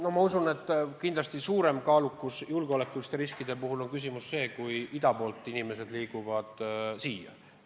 No ma usun, et kindlasti suurem julgeolekurisk on siis, kui inimesed liiguvad meile ida poolt.